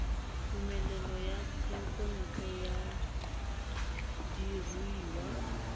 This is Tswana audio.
tumelelo ya thekontle ya diruiwa